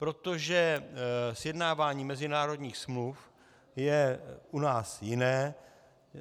Protože sjednávání mezinárodních smluv je u nás jiné.